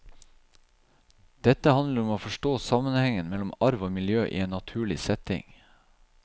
Dette handler om å forstå sammenhengen mellom arv og miljø i en naturlig setting.